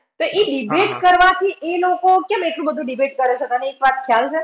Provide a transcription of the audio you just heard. તો ઈ debate કરવાથી એ લોકો કેમ એટલું બધું debate કરે છે તમને એક વાત ખ્યાલ છે?